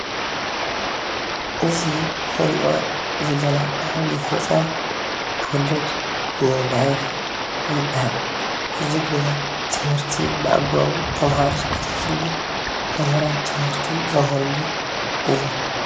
እዚ እንሪኦ ዘለና ዓብይ ህንፃ ኮሌጅ ኒው ላይፍ ይባሃል፡፡ እዚ ድማ ትምህርቲ ብኣግባቡ ተማሃሮ ዝከታተልሉ መምህራን ትምህርቲ ዘምህርሉን እዩ፡፡